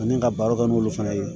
Ani ka baro kɛ n'olu fana ye